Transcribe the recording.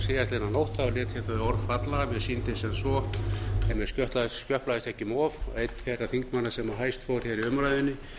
síðastliðnu nótt lét ég þau orð falla að mér sýndist sem svo ef mér skjöplaðist ekki um of að einn þeirra þingmanna sem hæst fór í umræðunni